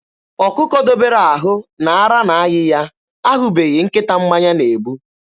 Ọkụkọ dobere ahụ na ara na-ayị ya ahụbeghị nkịta mmanya na-egbu.